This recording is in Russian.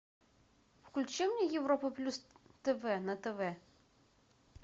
включи мне европу плюс тв на тв